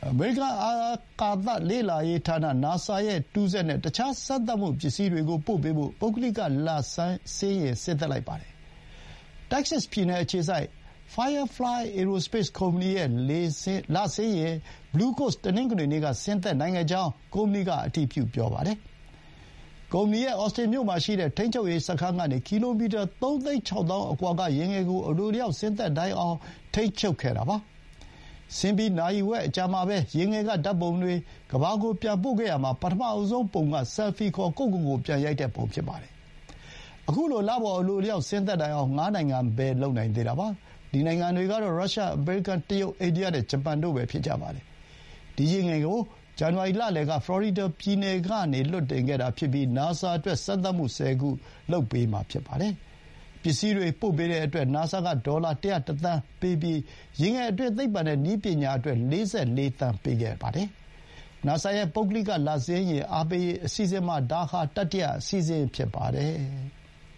အမေရိကန် အာကာသလေ့လာရေးဌာန NASA ရဲ့ တခြား စမ်းသပ်မှုပစ္စည်းတွေနဲ့ တူးစက်ကို ပို့ပေးဖို့ ပုဂ္ဂလိက လဆင်းယာဥ် ဆင်းသက်လိုက်ပါတယ်။ တက္ကဆက်စ်ပြည်နယ် အခြေစိုက် Firefly Aerospace ကုမ္ပဏီရဲ့ လဆင်းယာဥ် Blue Ghost တနင်္ဂနွေနေ့က ဆင်းသက်နိုင်ကြောင်းကို ကုမ္ပဏီက အတည်ပြုပါတယ်။ ကုမ္ပဏီရဲ့ အော်စတင်မြို့မှာရှိတဲ့ ထိန်းချုပ်ရေးစခန်းကနေ ကီလိုမီတာ ၃ သိန်း ၆ သောင်းအကွာက ယာဥ်ငယ်ကို အလိုအလျောက် ဆင်းသက်နိုင်အောင် ထိန်းချုပ်နေတာပါ။ ဆင်းပြီး နာရီဝက်အကြာမှာ ယာဥ်ငယ်က ဓာတ်ပုံတွေ ကမ္ဘာကို ပြန်ပို့ခဲ့ရာမှာ ပထမဆုံးပုံက ဆယ်လ်ဖီခေါ် ကိုယ့်ကိုယ်ကိုယ် ပြန်ရိုက်တဲ့ပုံ ဖြစ်ပါတယ်။ ခုလို လပေါ် အလိုအလျောက် ဆင်းသက်နိုင်အောင် ငါးနိုင်ငံပဲ လုပ်နိုင်သေးတာပါ။ ဒီနိုင်ငံတွေကတော့ ရုရှား၊ အမေရိကန်၊ တရုတ်၊ အိန္ဒိယနဲ့ ဂျပန်တို့ပဲ ဖြစ်ကြပါတယ်။ ဒီယာဥ်ငယ်ကို ဇန်နဝါရီလလယ်က ဖလော်ရီဒါပြည်နယ်ကနေ လွှတ်တင်ခဲ့တာဖြစ်ပြီး နာဆာအတွက် စမ်းသပ်မှု ဆယ်ခု လုပ်ပေးမှာဖြစ်ပါတယ်။ ပစ္စည်းတွေ ပို့ပေးတဲ့အတွက် နာဆာက ဒေါ်လာ ၁၀၁ သန်းပေးပြီး ယာဥ်ငယ်အတွင်း သိပ္ပံနဲ့ နည်းပညာအတွက် ၄၄ သန်း ပေးပါတယ်။ နာဆာရဲ့ ပုဂ္ဂလိက လဆင်းယာဥ် အားပေးရေး အစီအစဥ်မှာ ဒါဟာ တတိယအစီအစဥ် ဖြစ်ပါတယ်။